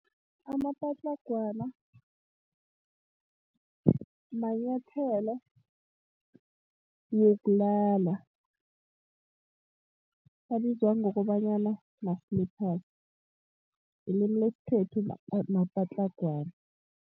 Amapatlhagwana, manyathelo wokulala. Abizwa ngokobanyana ma-slippers. Ngelimi lesikhethu mapatlhagwana.